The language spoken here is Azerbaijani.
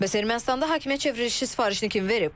Bəs Ermənistanda hakimiyyət çevrilişi sifarişini kim verib?